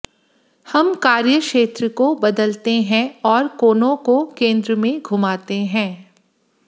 हम कार्यक्षेत्र को बदलते हैं और कोनों को केंद्र में घुमाते हैं